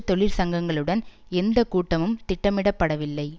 தொழிற் சங்கங்களுடன் எந்த கூட்டமும் திட்டமிடப்படவில்லை